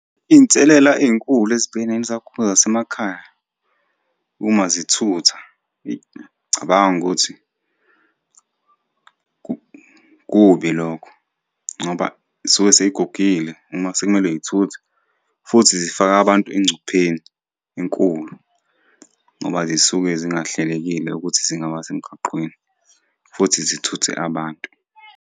Iy'nselela ey'nkulu ezibhekene nezaguga zasemakhaya uma zithutha, eyi ngiyacabanga ukuthi kubi lokho ngoba iy'suke sey'gugile uma sekumele y'thuthe, futhi zifaka abantu engcupheni enkulu ngoba zisuke zingahlelekile ukuthi zingaba semgaqweni futhi zithuthe abantu.